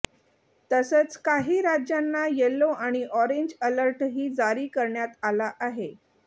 तसंच काही राज्यांना येलो आणि ऑरेंज अलर्टही जारी करण्यात आला आहे